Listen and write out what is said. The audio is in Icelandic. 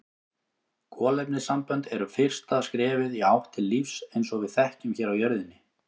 Kolefnissambönd eru fyrsta skrefið í átt til lífs eins og við þekkjum hér á jörðinni.